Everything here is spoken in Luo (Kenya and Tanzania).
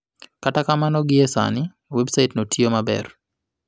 Kata kamano, gie sani, websaitno tiyo maber.